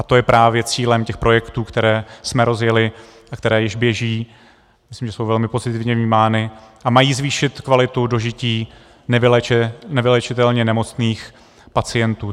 A to je právě cílem těch projektů, které jsme rozjeli a které již běží, myslím, že jsou velmi pozitivně vnímány, a mají zvýšit kvalitu dožití nevyléčitelně nemocných pacientů.